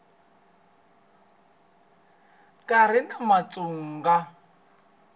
ka ha ri na mutsonga